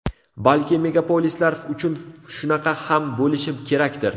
Balki megapolislar uchun shunaqa ham bo‘lishi kerakdir.